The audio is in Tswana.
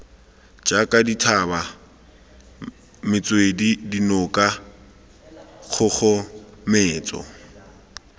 jaaka dithaba metswedi dinoka kgogometso